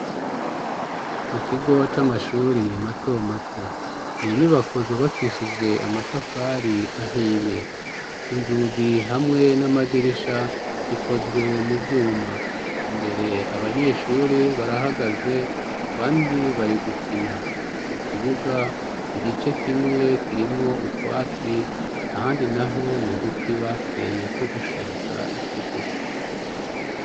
Mukigo c'amashure matomato n'inyubako zubakishije amatafari ahiye, inzugi hamwe n'amadirisha zikozwe muvyuma. Imbere abanyeshuri barahagaze abandi bari gukina, mukibuga igice kimwe kirimwo utwatsi ahandi naho n'uduti bateye two gushariza ikigo.